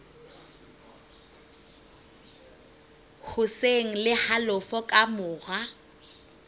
hoseng le halofo ka mora